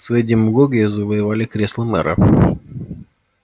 своей демагогией завоевали кресло мэра